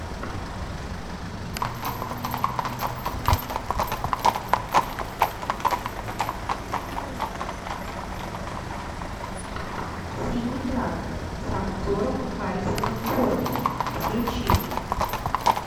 синий трактор с актером харрисоном фордом включи